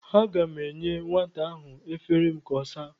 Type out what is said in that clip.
Aga m enye weta ahụ efere m ka ọ saa.